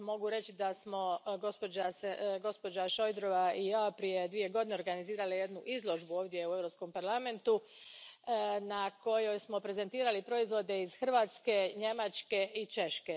Mogu reći da smo gospođa Šojdrova i ja prije dvije godine organizirale jednu izložbu ovdje u Europskom parlamentu na kojoj smo prezentirali proizvode iz Hrvatske, Njemačke i Češke.